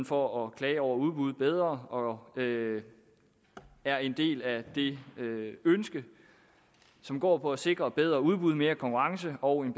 for at klage over udbud bedre og det er en del af det ønske som går på at sikre bedre udbud mere konkurrence og en